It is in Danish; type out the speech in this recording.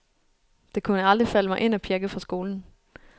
Det kunne aldrig falde mig ind at pjække fra skolen.